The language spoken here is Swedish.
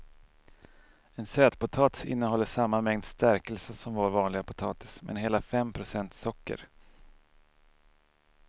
En sötpotatis innehåller samma mängd stärkelse som vår vanliga potatis men hela fem procent socker.